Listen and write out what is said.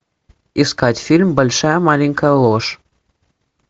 искать фильм большая маленькая ложь